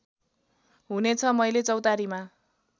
हुनेछ मैले चौतारीमा